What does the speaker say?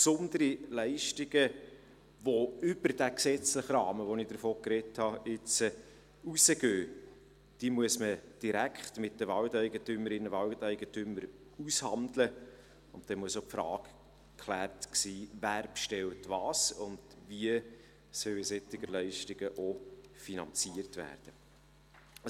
Besondere Leistungen, die über diesen gesetzlichen Rahmen, über den ich jetzt gesprochen habe, hinausgehen, muss man direkt mit den Waldeigentümerinnen und -eigentümern aushandeln, und dabei muss auch die Frage geklärt sein, wer was bestellt und wie solche Leistungen finanziert werden sollen.